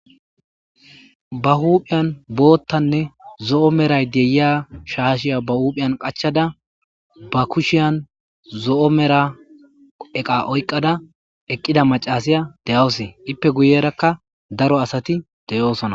Ba huphiyan boottanne zo'o meray deyiya shaashiya ba huuphiyan qachada ba kushiyan zo'o mera eqa oyqada eqqida macasiya de7aosee ippe guyerakka daro asati deyoosona.